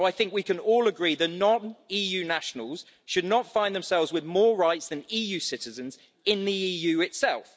We can all agree that non EU nationals should not find themselves with more rights than EU citizens in the EU itself.